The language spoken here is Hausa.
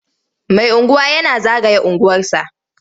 Mai unguwa yana zagaya unguwarsa.